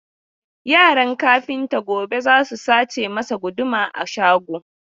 Yaran kafinta gobe za su sace masa guduma a shago.